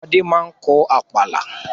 Fadé máa ń lọ àpàlà.